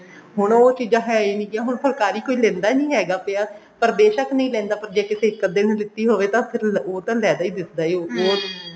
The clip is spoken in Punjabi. ਹੁਣ ਉਹ ਚੀਜਾਂ ਹੈ ਹੀ ਨੀ ਹੁਣ ਫੁਲਕਾਰੀ ਕੋਈ ਲਿੰਦਾ ਨਹੀਂ ਹੈਗਾ ਪਿਆ ਪਰ ਬੇਸ਼ਕ ਨਹੀਂ ਲੈਂਦਾ ਪਿਆ ਪਰ ਜੇ ਕਿਸੇ ਇੱਕ ਅੱਧੇ ਨੇ ਲੀਤੀ ਹੋਵੇ ਤਾਂ ਉਹ ਤਾਂ ਫੇਰ ਲੈਦਾ ਹੀ ਦਿਸਦਾ ਹੈ